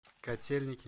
котельники